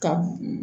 Ka